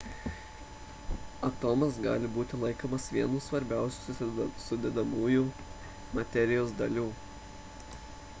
atomas gali būti laikomas viena svarbiausių sudedamųjų materijos dalių